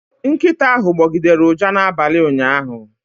Nkịta ahụ gbọgidere ụja n'abalị ụnyaahụ